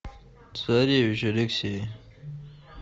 царевич алексей